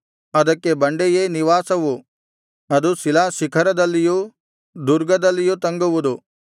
ಅದಕ್ಕೆ ಬಂಡೆಯೇ ನಿವಾಸವು ಅದು ಶಿಲಾಶಿಖರದಲ್ಲಿಯೂ ದುರ್ಗದಲ್ಲಿಯೂ ತಂಗುವುದು